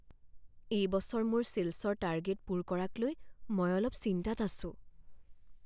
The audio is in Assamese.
এই বছৰ মোৰ ছেলছৰ টাৰ্গেট পূৰ কৰাক লৈ মই অলপ চিন্তাত আছোঁ।